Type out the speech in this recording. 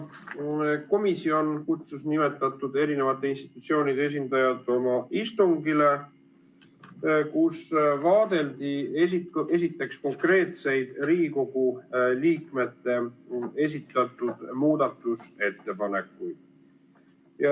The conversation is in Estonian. Komisjon kutsus nimetatud institutsioonide esindajad oma istungile, kus vaadeldi konkreetseid Riigikogu liikmete esitatud muudatusettepanekuid.